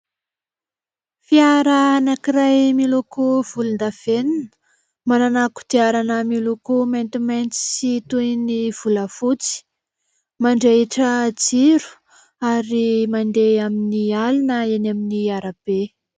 Fiara anankiray miloko volondavenona, manana kodiarana miloko maintimainty sy toy ny volafotsy. Mandrehitra jiro ary mandeha amin'ny alina eny amin'ny arabe.